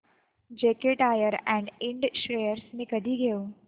JK tyre and Ind shares मी कधी घेऊ